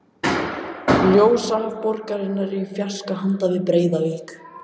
Ljósahaf borgarinnar í fjarska handan við breiða vík.